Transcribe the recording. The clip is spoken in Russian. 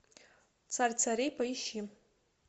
царь царей поищи